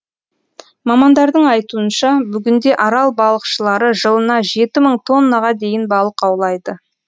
мамандардың айтуынша бүгінде арал балықшылары жылына жеті мың тоннаға дейін балық аулайды